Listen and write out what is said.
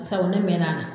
Sabu ne mɛnna